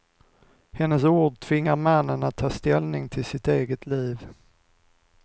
Hennes ord tvingar mannen att ta ställning till sitt eget liv.